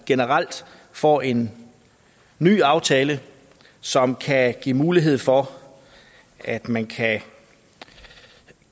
generelt får en ny aftale som kan give mulighed for at man